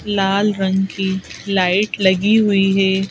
लाल रंग की लाइट लगी हुई है।